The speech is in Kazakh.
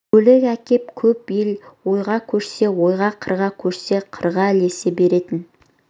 көлік әкеп көп ел ойға көшсе ойға қырға көшсе қырға ілесе беретін